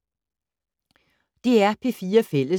DR P4 Fælles